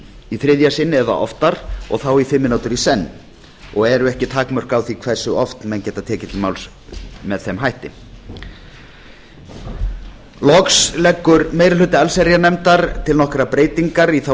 í þriðja sinn eða oftar og þá í fimm mínútur í senn og eru ekki takmörk á því hversu oft menn geta tekið til máls með þeim hætti loks leggur meiri hluti allsherjarnefndar til nokkrar breytingar í þá